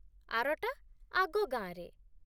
ଆରଟା ଆଗ ଗାଁରେ ।